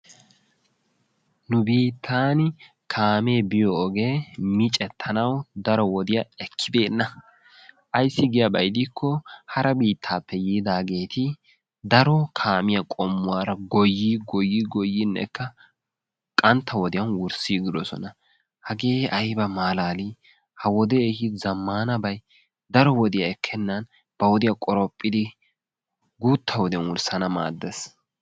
Nu bittaani kaamee biyoo ogee miccetanayoo daro wodiyaa ekkibenna. Ayssi giyaaba gidiko hara biittaappe yidaageti daro kaamiyaa qommuwaara goyii goyii goyiinekka qantta wodiyaan wurssigidoosona. hagee ayba malaalii! ha wodee ehiido zammanabay daro wodiyaa ekkenan ba wodiyaa qoraphphidi guutta wodiyaan wurssanawu maaddees.